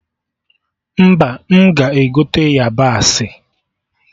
Mba, m ga-egote yabasị